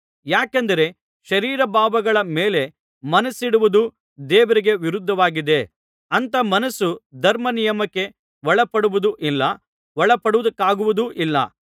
ಯಾಕೆಂದರೆ ಶರೀರಭಾವಗಳ ಮೇಲೆ ಮನಸ್ಸಿಡುವುದು ದೇವರಿಗೆ ವಿರುದ್ಧವಾಗಿದೆ ಅಂಥ ಮನಸ್ಸು ಧರ್ಮನಿಯಮಕ್ಕೆ ಒಳಪಡುವುದೂ ಇಲ್ಲ ಒಳಪಡುವುದಕ್ಕಾಗುವುದೂ ಇಲ್ಲ